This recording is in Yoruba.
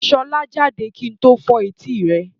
Sọlá jáde kí n tó fọ́ etí rẹ̀.